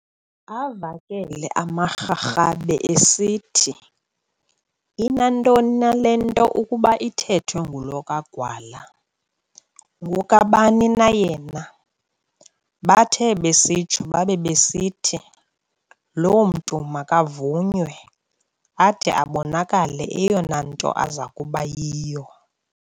Avakele amaRharhabe esithi, "Inantoni na le nto ukuba ithethwe ngulo kaGwala, ngokabani na yena? Bathe besitsho babe besithi , "loo mntu makavunywe ade abonakale eyona nto azakuba yiyo".